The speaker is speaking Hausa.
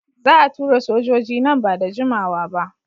Za a tura sojoji nan ba da jimawa ba.